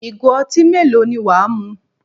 Ìgò ọtí mélòó ni wà á mu?